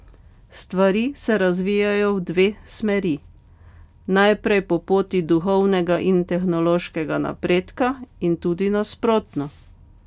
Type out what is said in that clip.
Stvari se razvijajo v dve smeri, naprej po poti duhovnega in tehnološkega napredka in tudi nasprotno.